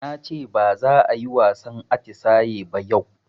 Nace baza ayi wasan atisaye ba yau